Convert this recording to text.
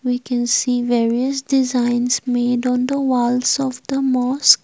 we can see various designs made on the wall of the mosque.